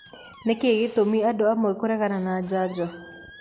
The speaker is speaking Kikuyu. Nĩkĩĩ gĩtũmi andũamwe kũregana na njanjo?